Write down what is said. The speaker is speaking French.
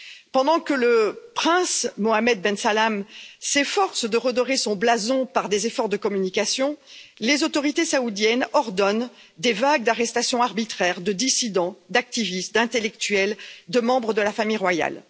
Pendant que le prince Mohammed Ben Salmane s'efforce de redorer son blason par des efforts de communication, les autorités saoudiennes ordonnent des vagues d'arrestations arbitraires de dissidents, d'activistes, d'intellectuels, de membres de la famille royale.